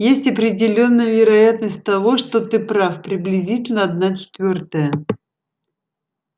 есть определённая вероятность того что ты прав приблизительно одна четвёртая